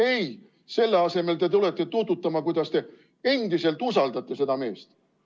Ei, selle asemel te tulete tuututama, kuidas te endiselt usaldate seda meest.